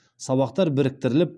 сабақтар біріктіріліп